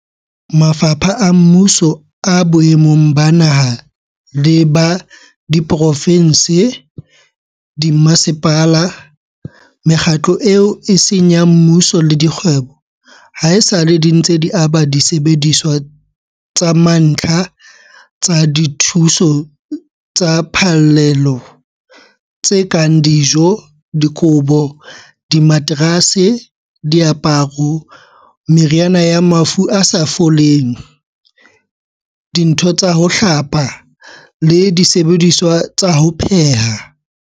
Mafapha a mmuso boemong ba naha le ba diprovense, dimmasepala, mekgatlo eo e seng ya mmuso le dikgwebo, haesale di ntse di aba disebediswa tsa mantlha tsa dithuso tsa phallelo tse kang dijo, dikobo, dimaterase, diaparo, meriana ya mafu a sa foleng, dintho tsa ho hlapa le disebediswa tsa ho pheha.